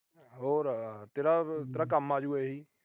ਹੋਰ ਤੇਰਾ ਅਹ ਤੇਰਾ ਕੰਮ ਆਜੂ ਇਹੀ।